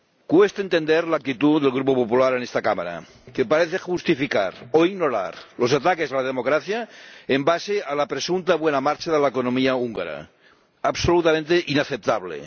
Cuesta entender la actitud del Grupo Popular en esta Cámara, que parece justificar o ignorar los ataques a la democracia basándose en la presunta buena marcha de la economía húngara absolutamente inaceptable